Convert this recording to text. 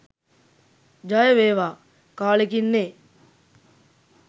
ජය වේවා කාලෙකින් නේ?